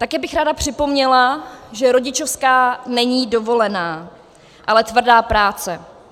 Také bych ráda připomněla, že rodičovská není dovolená, ale tvrdá práce.